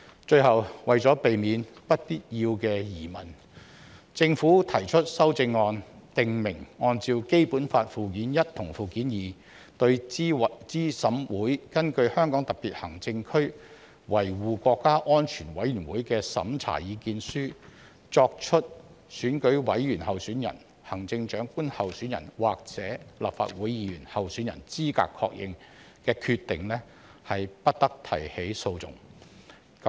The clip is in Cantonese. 最後，為避免不必要的疑問，政府提出修正案，訂明按照《基本法》附件一及附件二，對資審會根據香港特別行政區維護國家安全委員會的審查意見書作出選舉委員候選人、行政長官候選人或立法會議員候選人資格確認的決定，不得提起訴訟。